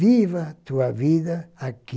Viva tua vida aqui,